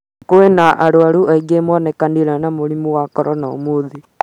Kwĩ na arwaru angĩ monekanire mũrimũ wa korona ũmũthĩ